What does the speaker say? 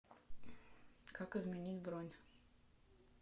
как изменить бронь